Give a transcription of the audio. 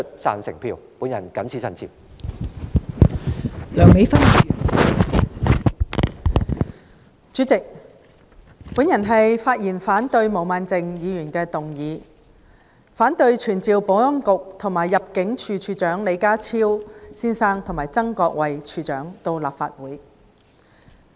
代理主席，我發言反對毛孟靜議員的議案，反對傳召保安局局長李家超先生及入境事務處處長曾國衞先生到立法會。